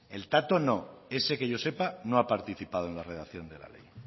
el tato no ese que yo sepa no ha participado en la redacción de la ley